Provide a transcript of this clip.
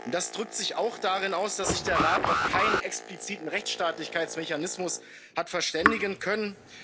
Das drückt sich auch darin aus, dass sich der Rat auf keinen expliziten Rechtsstaatlichkeitsmechanismus hat verständigen können.